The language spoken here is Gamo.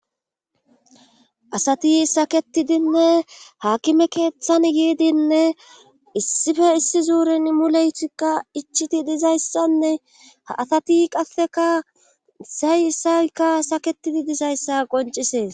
asati saketidinne haakime keeththan yiidinne issife issi zuurin muleytikka ichiti dizayssanne ha asati qasseka sayisaykka saketidi dizayssa qoncisees